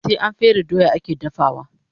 Sai an fere doya ake dafawa